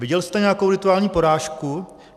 Viděl jste nějakou rituální porážku?